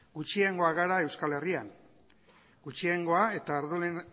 gutxiengoa gara euskal herrian gutxiengoa eta